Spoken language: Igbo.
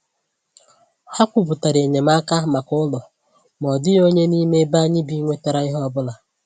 Ha kwùpụtara enyemaka maka ụlọ, ma ọ dịghị onye n’ime ebe anyị bi nwetàrà ihe ọbụla.